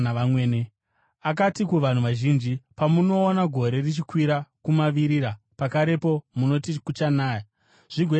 Akati kuvanhu vazhinji, “Pamunoona gore richikwira kumavirira, pakarepo munoti, ‘Kuchanaya,’ zvigoita saizvozvo.